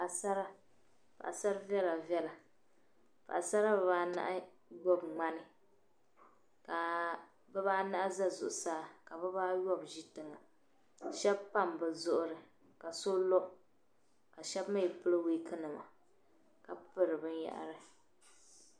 Paɣasara paɣasara viɛla viɛla paɣasara diba anahi gbubi ŋmani ka diba anahi za zuɣusaa ka diba ayɔbu mii ʒi tiŋa shɛba pam be zuɣiri ka so lo ka shɛba mii pili wiikinima ka piri binyɛhari.